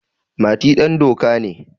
Mati dandoka ne.